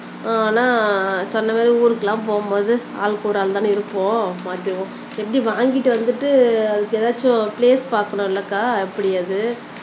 ஆனா சொன்னமாறி ஊருக்கெல்லாம் போகும்போது ஆளுக்கூடஆளு தான இருப்போம் எப்படி வாங்கிட்டு வந்துட்டு எதாச்சும் பிளேஸ் பாக்கணும் இல்லக்கா எப்படி அது